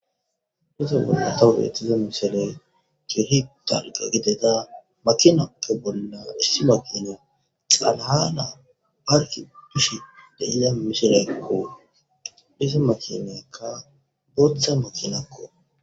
dose bolla tawu deetiza mishile giori dalqa gideda makinakko bolla issi makino xalahana parki dushe deiya mishilekko dhisa makinekka bootha makinakko